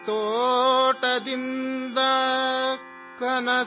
خواب کاٹ لائے گی،